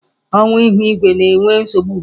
Ọwa ihu igwe na-enwe nsogbu ugbu a.